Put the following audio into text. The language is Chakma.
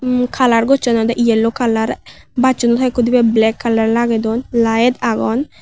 mui color gocchon de yellow color bacchunot hoikko dibey black color lagey don light agon.